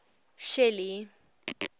shelly